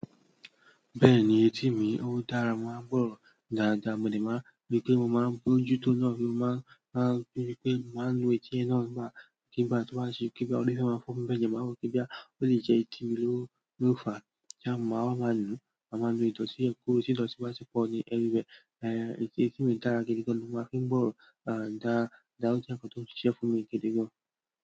Bẹ́ẹ̀ni, etí mi ó dára, mo máa ń gbọ́ ọ̀rọ̀ dáadáa, mo dẹ̀ máa ń ríi pé mo máa ń bójú tóo náà, mo máa ń ríi pé màá ń nu etí yẹn náà nígbàkigbà tí ó bá ṣe kí bá, ọlọ́rẹ̀ẹ́ máa fún mi bẹ́ẹ̀ jẹ, màá mọ̀ kí bóyá, ó lè jẹ́ etí mi ló fàá, tí a màá wá máá nùú, màá máa nu ìdọ̀tí yẹn kúrò, tí ìdọ̀tí bá ti pọ̀ ní everywhere. Etí mi dára gidi gan-an ni, mo máa fi ń gbọ́rọ̀, and dáadáa, ó jẹ́ nǹkan tó ṣìṣẹ́ fún mi gidi gan-an.